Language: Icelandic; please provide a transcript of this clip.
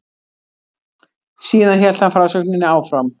Síðan hélt hann frásögninni áfram